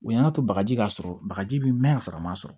U y'an ka to bagaji k'a sɔrɔ bagaji bɛ mɛn yan sɔrɔ a ma sɔrɔ